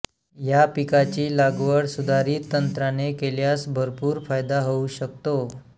या पिकाची लागवड सुधारित तंत्राने केल्यास भरपूर फायदा होऊ शकतो